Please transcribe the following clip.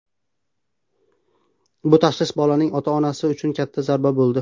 Bu tashxis bolaning ota-onasi uchun katta zarba bo‘ldi.